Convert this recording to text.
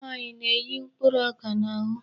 Ụmụnwaanyị na-eyi mkpụrụ ọka n'ahụ.